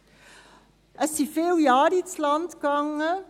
Es sind viele Jahre ins Land gegangen.